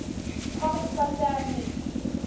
comics by stan lee